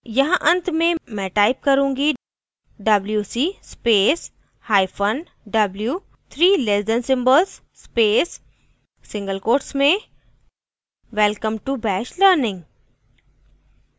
यहाँ अंत में मैं type करूँगी wc space hyphen w three less than symbols space single quotes में welcome to bash learning